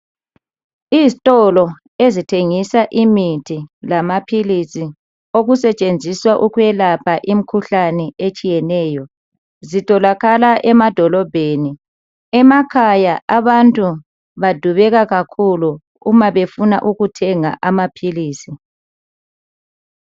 Izitolo ezithengisa imithi lamaphilisi okusetshenziswa ukuwelapha imikhuhlane etshiyeneyo zitholakala emadolobheni. Emakhaya abantu badubeka kakhulu uma befuna ukuthenga amaphilisi.